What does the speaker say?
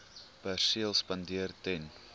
perseel spandeer ten